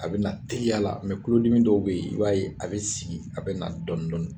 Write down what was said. A bɛ na teliya la mɛ kuludimi dɔw bɛ yen i b'a ye a bɛ sigi a bɛ na dɔɔni dɔɔni.